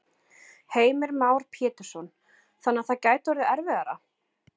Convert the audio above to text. Heimir Már Pétursson: Þannig að það gæti orðið erfiðara?